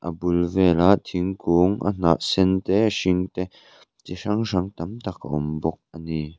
a bul vela thingkung a hnah sen te a hring te chi hrang hrang tam tak a awm bawk ani.